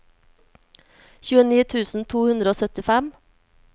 tjueni tusen to hundre og syttifem